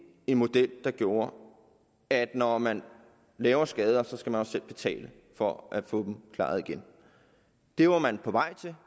en model der gjorde at når man laver skader skal man også selv betale for at få dem klaret igen det var man på vej til